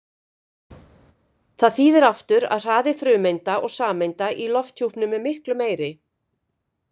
Það þýðir aftur að hraði frumeinda og sameinda í lofthjúpnum er miklu meiri.